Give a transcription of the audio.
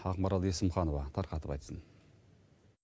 ақмарал есімханова тарқатып айтсын